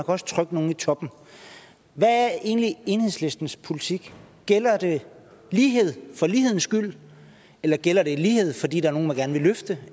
også trykke nogle i toppen hvad er egentlig enhedslistens politik gælder det lighed for ligheden skyld eller gælder det lighed fordi der er nogle man gerne vil løfte